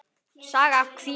Saga af kvíða.